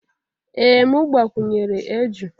Ee m gbakwunyere eju